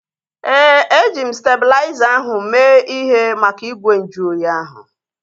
Éè, eji m stalizer ahu mee ihe maka igwe nju oyi ahu